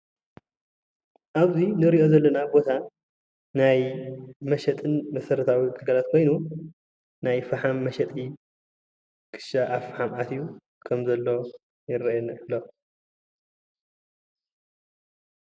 ኣብዙይ እንሪኦ ዘለና ቦታ ናይ መሸጢ መሠረታዊ ግልጋሎት ኾይኑ ናይ ፈሓም መሸጢ ክሻ ኣብ ፍሓም ኣትዩ ይረአየና ኣሎ።